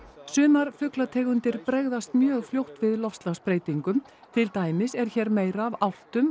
sumar fuglategundir bregðast mjög fljótt við loftslagsbreytingum til dæmis er hér meira af álftum